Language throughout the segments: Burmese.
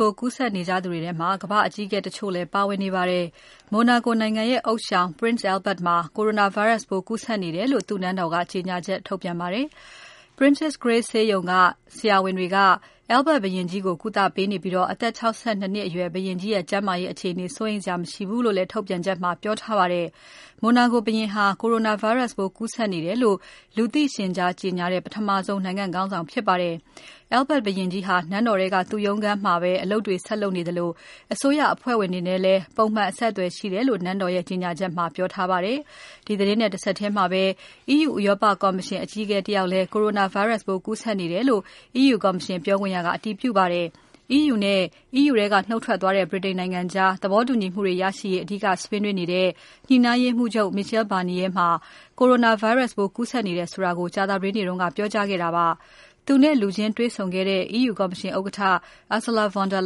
ပိုး ကူးစက်နေကြသူတွေထဲမှာ ကမ္ဘာ့အကြီးအကဲတချို့လည်း ပါဝင်နေပါတယ်။ Monaco နိုင်ငံရဲ့ ဥသျှောင် Prince Albert မှာ coronavirus ပိုးကူးစက်နေတယ်လို့ သူ့နန်းတော်က ကြေညာချက်ထုတ်ပြန်ပါတယ်။ Princess Grace ဆေးရုံက ဆရာဝန်တွေက Albert ဘုရင်ကြီးကို ကုသပေးနေပြီး အသက် ၆၂ နှစ်အရွယ် ဘုရင်ကြီးရဲ့ ကျန်းမာရေးအခြေအနေ စိုးရိမ်စရာ မရှိဘူးလို့လည်း ထုတ်ပြန်ချက်မှာ ပြောထားပါတယ်။ Monaco ဘုရင်ဟာ Coronavirus ပိုးကူးစက်နေတယ်လို့ လူသိရှင်ကြား ကြေညာတဲ့ ပထမဆုံး နိုင်ငံ့ခေါင်းဆောင်ဖြစ်ပါတယ်။ Albert ဘုရင်ကြီးဟာ နန်းတော်ထဲက သူ့ရုံးခန်းမှာ အလုပ်တွေ ဆက်လုပ်နေသလို အစိုးရအဖွဲ့ဝင်တွေနဲ့လည်း ပုံမှန် အဆက်အသွယ်ရှိတယ်လို့ နန်းတော်ရဲ့ ကြေညာချက်ထဲမှာ ပြောထားပါတယ်။ ဒီသတင်းနဲ့ တဆက်ထဲပဲ EU ဥရောပကော်မရှင်အကြီးအကဲ တယောက်လည်း Coronavirus ပိုးကူးစက်နေတယ်လို့ EU ကော်မရှင် ပြောခွင့်ရသူက အတည်ပြုပါတယ်။ EU နဲ့ EU ထဲက နုတ်ထွက်သွားတဲ့ ဗြိတိန်နိုင်ငံကြား သဘောတူညီမှုတွေ ရရှိရေး အဓိကဆွေးနွေးနေတဲ့ ညှိနှိုင်းရေးမှူးချုပ် Michael Barnier မှာ Coronavirus ပိုးကူးစက်နေတယ်ဆိုတာကို ကြာသပတေးနေ့က ပြောကြားခဲ့တာပါ။ သူ့နဲ့ လူချင်းတေ့ွဆုံခဲ့တဲ့ EU ကော်မရှင်ဥက္ကဋ္ဌ Ursula von der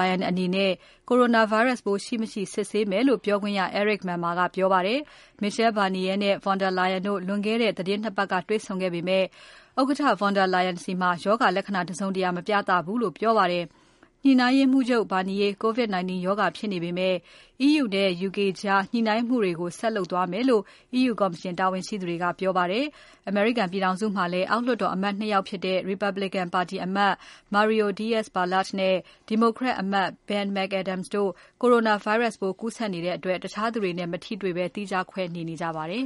Leyen အနေနဲ့ Coronavirus ပိုး ရှိ၊ မရှိ စစ်ဆေးမယ်လို့ ပြောခွင့်ရ Eric Mamer ကပြောပါတယ်။ Michael Barnier နဲ့ von der Leyen တို့ သီတင်း နှစ်ပတ်က တွေ့ဆုံခဲ့ပေမဲ့ von der Leyen ဆီမှာ ရောဂါလက္ခဏ္ဍာ တစုံတရာ မပြသဘူးလို့ပြောပါတယ်။ ညှိနှိုင်းရေးမှူးချုပ် Barnier COVID-19 ရောဂါဖြစ်နေပေမဲ့ EU နဲ့ UK ကြား ညှိနှိုင်းမှုတွေကို ဆက်လုပ်သွားမယ်လို့ EU ကော်မရှင်တာဝန်ရှိသူတွေက ပြောပါတယ်။ အမေရိကန်ပြည်ထောင်စုမှာလည်း အောက်လွှတ်တော်အမတ် နှစ်ယောက်ဖြစ်တဲ့ Republican ပါတီအမတ် Mario Diaz-Balart နဲ့ Democrat အမတ် Ben McAdams တို့ Coronavirus ပိုးကူးစက်နေတဲ့အတွက် တခြားသူတွေနဲ့ မထိတွေ့ဘဲ သီးခြားခွဲနေနေကြပါတယ်